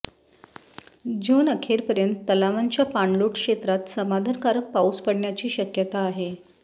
जून अखेरपर्यंत तलावांच्या पाणलोट क्षेत्रात समाधानकारक पाऊस पडण्याची शक्यता आहे